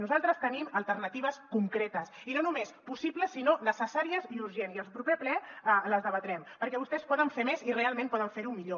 nosaltres tenim alternatives concretes i no només possibles sinó necessàries i urgents i al proper ple les debatrem perquè vostès poden fer més i realment poden fer ho millor